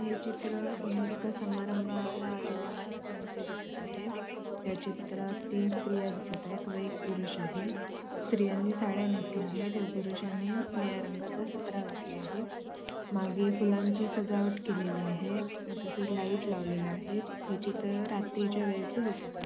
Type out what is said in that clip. हे चित्र म एका समारंभाला आलेल्या माणसांचे दिसत आहे या चित्रात तीन स्त्रिया दिसत आहेत व एक पुरुष आहे स्त्रियांनी साड्या नेसल्या आहेत तसेच व पुरुषानी निळ्या रंगाचा सदरा घातलेला आहे मागे फुलांची सजावट केलेली आहे तसेच लाइट लावलेल्या आहेत हे चित्र रात्रीच्या वेळेचे दिसत आहे.